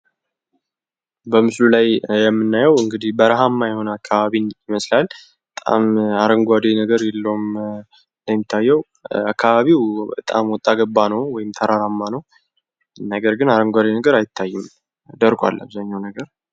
በምስሉ ላይ የምናየው እንግዲህ በረሃማ የሆነ አከባቢ ይመስላል። በጣም አረንጓዴ ነገር የለውም እንደሚታየው አከባቢው ወጣ ገባ ነው ወይም ተራራ ነው። ነገር ግን አረንጓዴ ነገር አይታይም ደርቋል።